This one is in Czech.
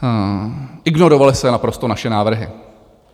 Ignorovaly se naprosto naše návrhy.